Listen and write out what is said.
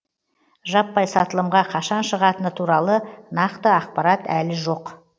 жаппай сатылымға қашан шығатыны туралы нақты ақпарат әлі жоқ